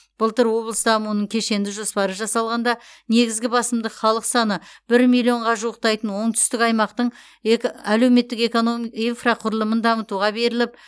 былтыр облыс дамуының кешенді жоспары жасалғанда негізгі басымдық халық саны бір миллионға жуықтайтын оңтүстік аймақтың әлеуметтік инфрақұрылымын дамытуға беріліп